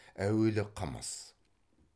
әуелі қымыз